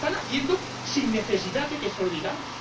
Lo están haciendo sin necesidad de que se lo digamos.